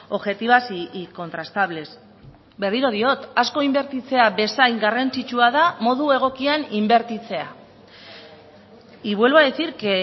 objetivas y contrastables berriro diot asko inbertitzea bezain garrantzitsua da modu egokian inbertitzea y vuelvo a decir que